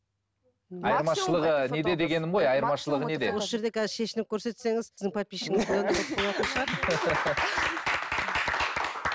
осы жерде қазір шешініп көрсетсеңіз сіздің подписчигіңіз одан да көп болатын шығар